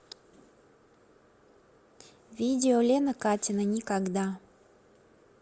видео лена катина никогда